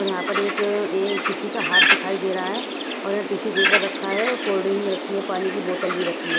और यहां पर एक ये किसी का हाथ दिखाई दे रहा है और यहां टिशू पेपर रखा है और कोल्ड ड्रिंक रखी है पानी की बोतल भी रखी है।